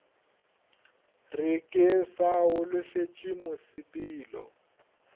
re ke sa holofetše mosepelo